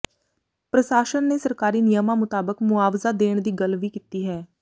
ਪ੍ਰਸਾਸ਼ਨ ਨੇ ਸਰਕਾਰੀ ਨਿਯਮਾਂ ਮੁਤਾਬਕ ਮੁਆਵਜ਼ਾ ਦੇਣ ਦੀ ਗੱਲ ਵੀ ਕੀਤੀ ਹੈ